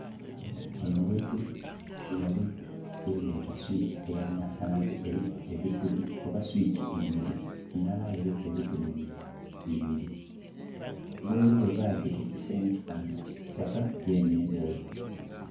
Gbanho ghetuli ghaligho gyebeta swiki eya masanhalaze eriku ebituli oba swiki ibiri ndala aye eliku ebituli bibiri. Gheri ghebagita ekisenge kifanana kisitaka yenhe ndheru.